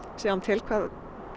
sjáum til hvað